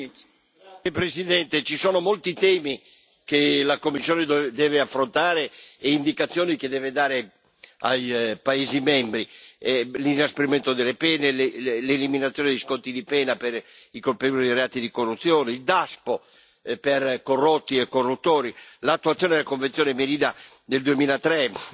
Signora Presidente, onorevoli colleghi, ci sono molti temi che la Commissione deve affrontare e indicazioni che deve dare ai paesi membri l'inasprimento delle pene, l'eliminazione di sconti di pena per i colpevoli di reati di corruzione, il Daspo per corrotti e corruttori, l'attuazione della Convenzione Merida del 2003,